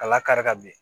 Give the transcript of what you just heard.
Ka lakari ka bin